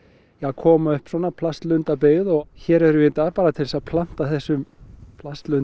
koma upp svona plastlundabyggð og hér erum við í dag bara til að planta þessum